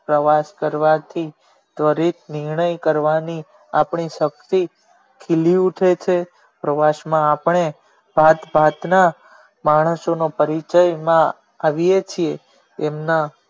પ્રવાસ કરવાથી દરેક નિર્ણય કરવાથી આપણી શક્તિ ખીલી ઉઠે છે પ્રવાસ માં આપણે ભાત ભાત ના માણસો ના પરિચય માં આવીયે છીએ એમના